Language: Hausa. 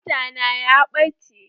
Buta na ya ɓace.